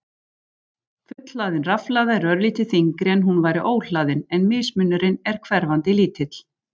Fullhlaðin rafhlaða er örlítið þyngri en hún væri óhlaðin en mismunurinn er hverfandi lítill.